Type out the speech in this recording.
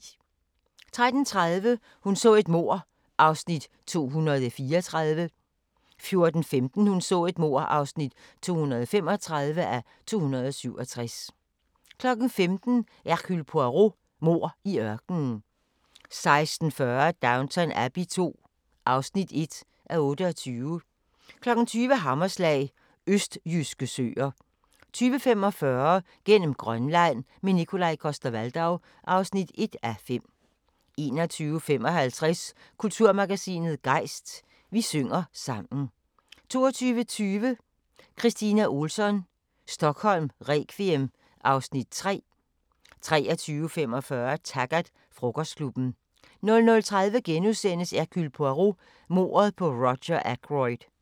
13:30: Hun så et mord (234:267) 14:15: Hun så et mord (235:267) 15:00: Hercule Poirot: Mord i ørkenen 16:40: Downton Abbey II (1:28) 20:00: Hammerslag – østjyske søer 20:45: Gennem Grønland – med Nikolaj Coster-Waldau (1:5) 21:55: Kulturmagasinet Gejst: Vi synger sammen 22:20: Kristina Ohlsson: Stockholm requiem (Afs. 3) 23:45: Taggart: Frokostklubben 00:30: Hercule Poirot: Mordet på Roger Ackroyd *